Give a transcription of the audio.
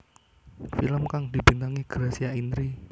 Film kang dibintangi Gracia Indri